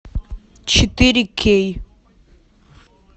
четыре кей